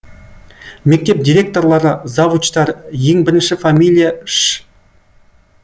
мектеп директорлары завучтар ең бірінші фамилия ш